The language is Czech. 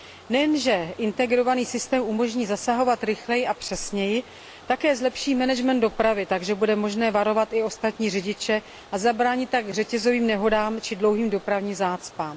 Nejenže integrovaný systém umožní zasahovat rychleji a přesněji, také zlepší management dopravy, takže bude možné varovat i ostatní řidiče a zabránit tak řetězovým nehodám či dlouhým dopravním zácpám.